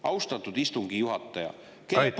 Austatud istungi juhataja!